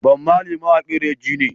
Bob Marley mawaƙin raggea ne